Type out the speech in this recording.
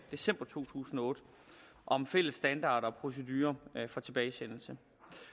december to tusind og otte om fælles standarder og procedurer for tilbagesendelse